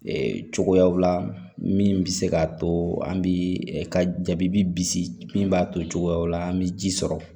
cogoyaw la min bɛ se k'a to an bi ka jabi bisi min b'a to cogoyaw la an bɛ ji sɔrɔ